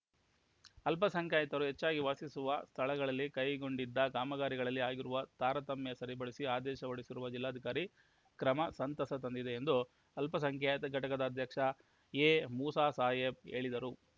ಅಲ್ಪ ಸಂಖ್ಯಾತರು ಹೆಚ್ಚಾಗಿ ವಾಸಿಸುವ ಸ್ಥಳಗಳಲ್ಲಿ ಕೈಗೊಂಡಿದ್ದ ಕಾಮಗಾರಿಗಳಲ್ಲಿ ಆಗಿರುವ ತಾರತಮ್ಯ ಸರಿಪಡಿಸಿ ಆದೇಶ ಹೊರಡಿಸಿರುವ ಜಿಲ್ಲಾಧಿಕಾರಿ ಕ್ರಮ ಸಂತಸ ತಂದಿದೆ ಎಂದು ಅಲ್ಪಸಂಖ್ಯಾತ ಘಟಕದ ಅಧ್ಯಕ್ಷ ಎಮೂಸಾಸಾಹೇಬ್‌ ಹೇಳಿದರು